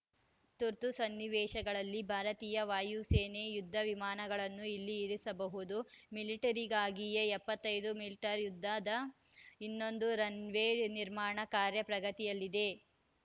ತುರ್ತು ಸನ್ನಿವೇಶಗಳಲ್ಲಿ ಭಾರತೀಯ ವಾಯುಸೇನೆ ಯುದ್ಧ ವಿಮಾನಗಳನ್ನು ಇಲ್ಲಿ ಇಳಿಸಬಹುದು ಮಿಲಿಟರಿಗಾಗಿಯೇ ಎಪ್ಪತ್ತ್ ಐದು ಮೀಟರ್ ಉದ್ದದ ಇನ್ನೊಂದು ರನ್‌ ವೇ ನಿರ್ಮಾಣ ಕಾರ್ಯ ಪ್ರಗತಿಯಲ್ಲಿದೆ